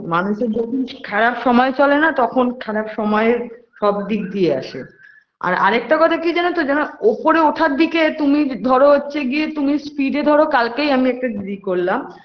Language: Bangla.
মানুষের যখন খারাপ সময় চলে না তখন খারাপ সময়ে সব দিক দিয়ে আসে আর আরেকটা কথা কি জানো তো জানো উপরে ওঠার দিকে তুমি ধরো হচ্ছে গিয়ে তুমি speed এ ধরো কালকেই আমি একটা ই করলাম